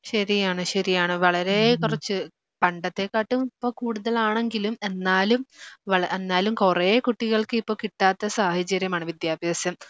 ശരിയാണ് ശരിയാണ് വളരേക്കുറച്ച് പണ്ടത്തെക്കാട്ടും ഇപ്പോ കൂടുതലാണെങ്കിലും എന്നാലും വള എന്നാലും കുറേ കുട്ടികൾക്ക് ഇപ്പോ കിട്ടാത്ത സാഹചര്യമാണ് വിദ്യാഭ്യാസം